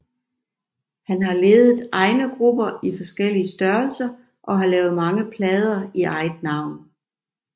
Han har ledet egne grupper i forskellige størrelser og har lavet mange plader i eget navn